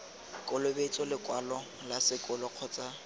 kolobetso lekwalo la sekolo kgotsa